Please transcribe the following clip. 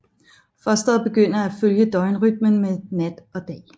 Fosteret begynder at følge døgnrytmen med nat og dag